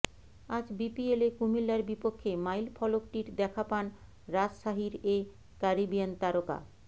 আজ বিপিএলে কুমিল্লার বিপক্ষে মাইলফলকটির দেখা পান রাজশাহীর এ ক্যারিবিয়ান তারকা